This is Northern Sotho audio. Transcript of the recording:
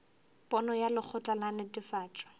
pono ya lekgotla la netefatšo